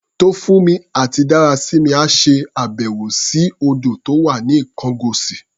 Tófúnmi àti Dárasími á ṣe àbẹ̀wò sí odò tó wà ní Ikongosi.